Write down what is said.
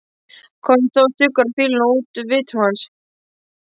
Konum stóð stuggur af fýlunni úr vitum hans.